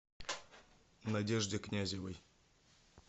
надежде князевой